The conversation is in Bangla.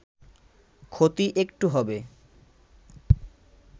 “ক্ষতি একটু হবে